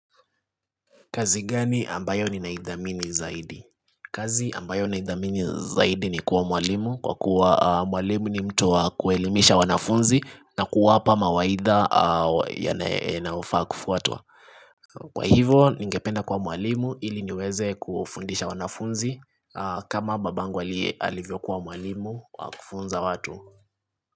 Kazi gani ambayo ni naithamini zaidi? Kazi ambayo naithamini zaidi ni kuwa mwalimu Kwa kuwa mwalimu ni mtu wa kuelimisha wanafunzi na kuwapa mawaidha yanayofaa kufuatwa Kwa hivyo ningependa kuwa mwalimu ili niweze kufundisha wanafunzi kama baba yangu alivyo kuwa mwalimu wa kufunza watu.